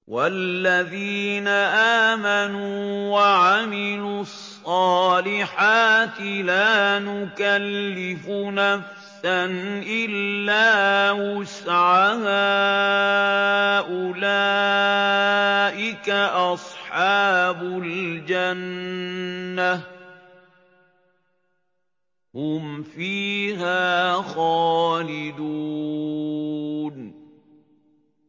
وَالَّذِينَ آمَنُوا وَعَمِلُوا الصَّالِحَاتِ لَا نُكَلِّفُ نَفْسًا إِلَّا وُسْعَهَا أُولَٰئِكَ أَصْحَابُ الْجَنَّةِ ۖ هُمْ فِيهَا خَالِدُونَ